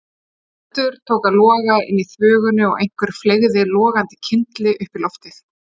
Eldur tók að loga inni í þvögunni og einhver fleygði logandi kyndli upp í loftið.